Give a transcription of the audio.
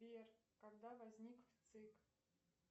сбер когда возник вцик